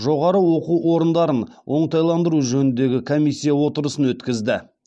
жоғары оқу орындарын оңтайландыру жөніндегі комиссия отырысын өткізді